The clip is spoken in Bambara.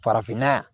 Farafinna yan